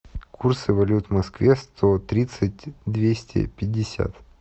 курсы валют в москве сто тридцать двести пятьдесят